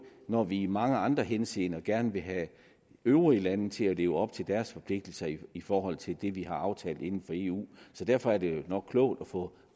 når vi i mange andre henseender gerne vil have øvrige lande til at leve op til deres forpligtelser i i forhold til det vi har aftalt inden for eu så derfor er det jo nok klogt at få